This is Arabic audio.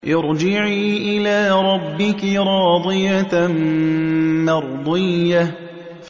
ارْجِعِي إِلَىٰ رَبِّكِ رَاضِيَةً مَّرْضِيَّةً